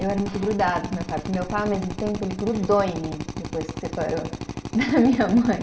Eu era muito grudada com meu pai, porque meu pai, ao mesmo tempo, ele grudou em mim, depois que separou da minha mãe.